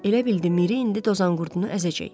Elə bildi Miri indi dozanqurdunu əzəcək.